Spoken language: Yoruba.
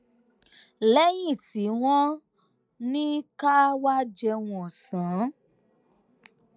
léyìn tí wón ní ká wá jẹun òsán